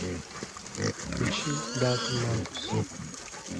включи дарвин маркус